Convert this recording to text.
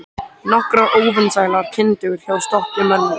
Nokkrar óvinsælar kindur hjá stöku manni.